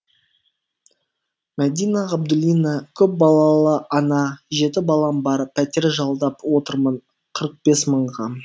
мәдина ғабдуллина көпбалалы ана жеті балам бар пәтер жалдап отырмын қырық бес мыңға